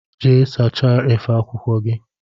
Jee sacha efe akwụkwọ gi!!